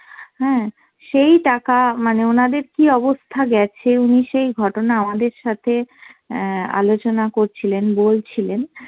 হ্যাঁ সেই টাকা মানে ওনাদের কি অবস্থা গেছে উনি সেই ঘটনা আমাদের সাথে অ্যাঁ আলোচনা করছিলেন, বলছিলেন